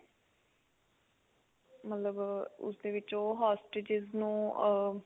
ਮਤਲਬ ਉਸ ਦੇ ਵਿੱਚ ਉਹ hostages ਨੂੰ ah